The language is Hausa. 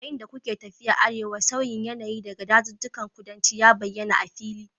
Yayin da kuke tafiya arewa, sauyin yanayi daga dazuzzukan kudanci ya bayyana a fili